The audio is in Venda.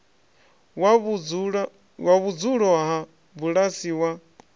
wa vhudzulo ha bulasi wa